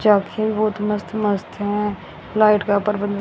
चौकी बहुत मस्त मस्त है लाइट का प्रबन्ध--